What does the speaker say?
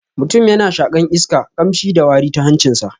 Mutum yana shaƙan iska, ƙamshi da wari ta hancin sa.